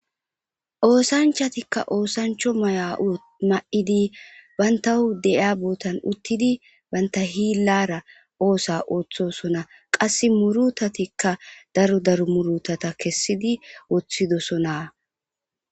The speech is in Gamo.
Oosanchati ooso mayo mayidi banta sohon uttidi banta hillara oosa ooththosona qase murutatika daro daro murutataka murutisidika dosona